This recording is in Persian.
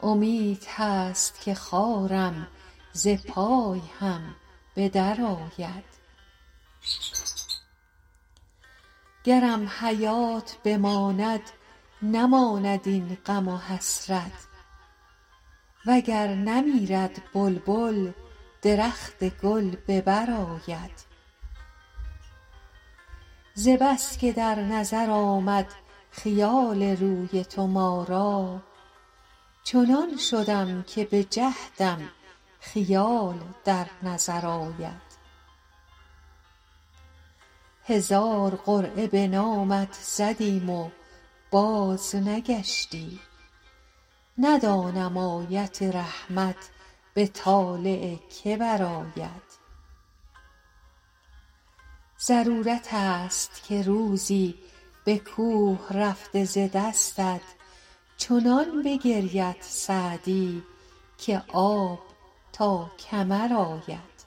امید هست که خارم ز پای هم به درآید گرم حیات بماند نماند این غم و حسرت و گر نمیرد بلبل درخت گل به بر آید ز بس که در نظر آمد خیال روی تو ما را چنان شدم که به جهدم خیال در نظر آید هزار قرعه به نامت زدیم و بازنگشتی ندانم آیت رحمت به طالع که برآید ضرورت ست که روزی به کوه رفته ز دستت چنان بگرید سعدی که آب تا کمر آید